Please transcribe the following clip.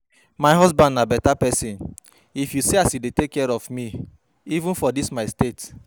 My husband na beta person, if you see as he dey take care of me even for dis my state